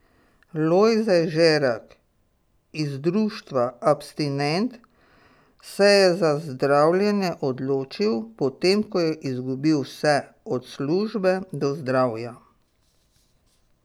Lojze Žerak iz društva Abstinent se je za zdravljenje odločil, potem ko je izgubil vse od službe do zdravja.